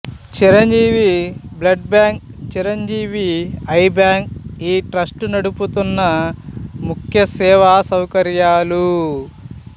Chiranjeevi blood bank Chiranjeevi eye bank ఈ trust నడుపుతున్న ముఖ్య సేవా సౌకర్యాలు